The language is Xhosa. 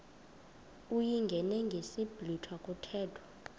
uyingene ngesiblwitha kuthethwa